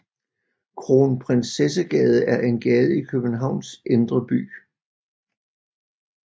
Kronprinsessegade er en gade i Københavns Indre By